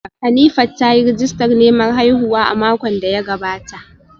Hanifat ta yi rijistar neman haihuwa a makon da ya gabata